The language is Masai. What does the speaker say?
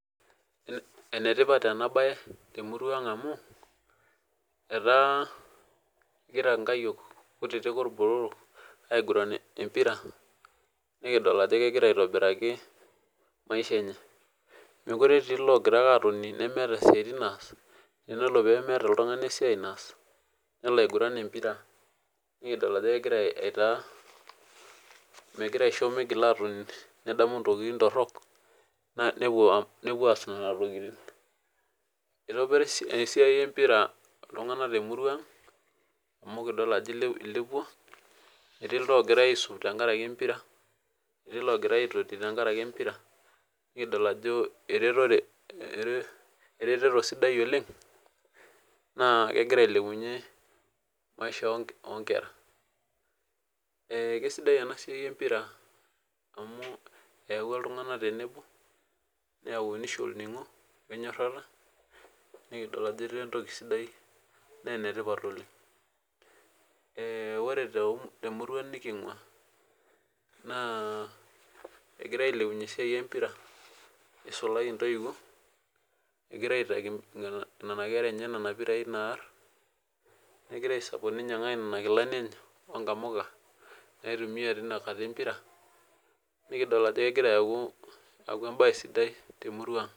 Enetipat enabae temurua ang amu etaa nkayiok kutitikorbotorok aiguran empira nikidol ajo kegira aitobiraki maisha enye mekute otiiblogira atoni nemeeta siatin naas nelo aiguran empira nikidola ajo kehira aitaa mekute egira atoni nedamu ntokitin torok nepuo aas nona tokitin itobira esiai empira ltunganak temurua aang amu kidil ajo ilepua etii logira atoti tenkaraki empira nikidol ajo erertoto sidai oleng nakegira ailepunye maisha onkera na kesidai enasia empira amu eyau ltunganak tenebo neyau nisho olningo nikidol ajo etaa entoki sidai na enetipat oleng na ore temurua nikingua na egira ailepunye eisia empira isulaki ntoiwuo egira aitaki nonakera enye mpirai naar negira ainyangaki nonakilani enye onamuka naitumia tenkata empira nikidol ajo kegira aaku embae sidai temurua aang.